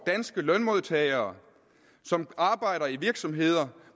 danske lønmodtagere som arbejder i virksomhederne